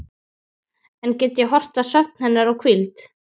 Enn get ég horft á svefn hennar og hvíld.